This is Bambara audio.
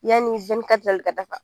Yanni ka da fa